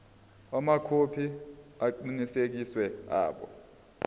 amakhophi aqinisekisiwe abo